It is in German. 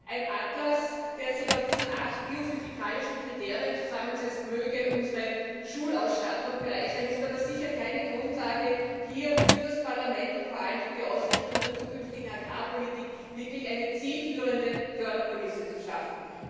Ein Atlas, der sich aus diesen acht biophysikalischen Kriterien zusammensetzt, mag unsere Schulausstattung bereichern, ist aber sicher keine Grundlage, hier für das Parlament und vor allem für die Ausrichtung der zukünftigen Agrarpolitik eine wirklich zielführende Förderkulisse zu schaffen.